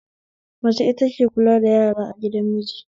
Mace ita take kula da yara a gidan miji